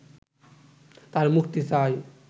তাঁর মুক্তি চাই